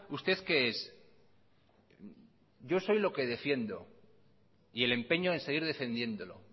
usted qué es yo soy lo que defiendo y el empeño en seguir defendiéndolo